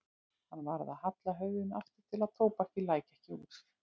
Hann varð að halla höfðinu aftur til að tóbakið læki ekki út.